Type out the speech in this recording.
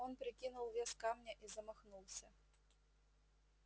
он прикинул вес камня и замахнулся